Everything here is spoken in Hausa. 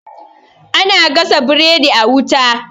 ana gasa biredi a wuta